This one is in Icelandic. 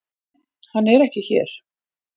Hann er ekki hér.